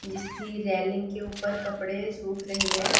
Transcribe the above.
जिसकी रेलिंग के ऊपर कपड़े सूख रहे हैं।